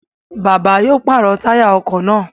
Bàbá yoo pàrọ̀ táyà ọkọ̀ naa